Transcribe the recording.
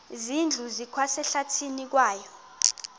zindlu zikwasehlathini kwaye